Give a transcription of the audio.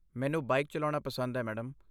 ਮੈਨੂੰ ਬਾਈਕ ਚਲਾਉਣਾ ਪਸੰਦ ਹੈ, ਮੈਡਮ।